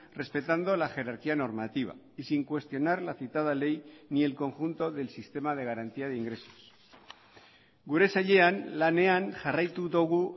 respetando la jerarquía normativa y sin cuestionar la citada ley ni el conjunto del sistema de garantía de ingresos gure sailean lanean jarraitu dugu